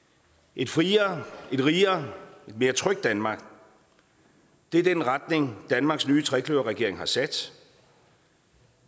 et friere et rigere et mere trygt danmark det er den retning danmarks nye trekløverregering har sat